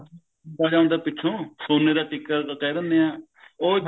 ਬੰਨਿਆ ਜਾਂਦਾ ਪਿਛੋਂ ਸੋਨੇ ਦਾ ਟਿੱਕਾ ਕਿਹ ਦਿੰਨੇ ਆ ਉਹ